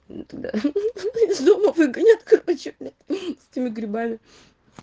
тогда из дома выгонят короче с этими грибами